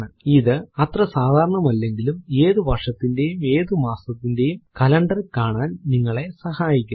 ഇത് അത്ര സാധാരണം അല്ലെങ്കിലും ഏതു വർഷത്തിന്റെയും ഏതു മാസത്തിന്റെയും കലണ്ടർ കാണാൻ നിങ്ങളെ സഹായിക്കുന്നു